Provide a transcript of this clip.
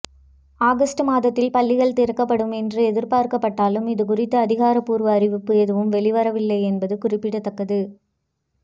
August மாதத்தில் பள்ளிகள் திறக்கப்படும் என்று எதிர்பார்க்கப்பட்டாலும் இதுகுறித்த அதிகாரப்பூர்வ அறிவிப்பு எதுவும் வெளிவரவில்லை என்பது குறிப்பிடத்தக்கது